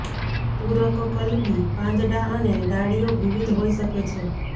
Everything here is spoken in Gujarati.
પૂરક કલગી પાંદડાં અને ડાળીઓ વિવિધ હોઇ શકે છે